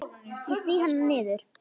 Ég sný hana niður.